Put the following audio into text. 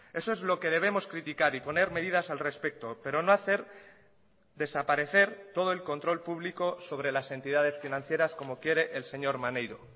eso es lo que debemos criticar y poner medidas al respecto pero no hacer desaparecer todo el control público sobre las entidades financieras como quiere el señor maneiro